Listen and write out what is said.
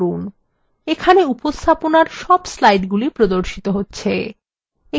এখানে উপস্থাপনার সব slides প্রদর্শিত হচ্ছে